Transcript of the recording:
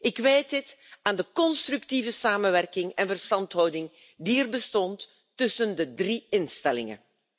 Ik wijt dit aan de constructieve samenwerking en verstandhouding die er bestond tussen de drie instellingen.